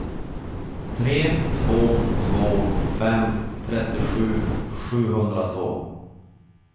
tre två två fem trettiosju sjuhundratvå